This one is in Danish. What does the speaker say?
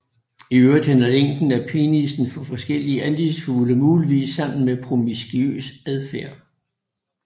I øvrigt hænger længden af penisen for forskellige andefuglearter muligvis sammen med promiskuøs adfærd